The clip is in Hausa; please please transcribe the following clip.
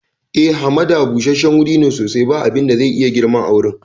Haka ne, hamada busasshen guri ne sosai, ba abin da zai iya girma a wurin.